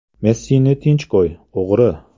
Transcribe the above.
“Messini tinch qo‘y, o‘g‘ri”.